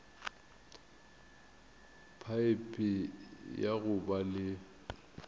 phaephe ya go ba le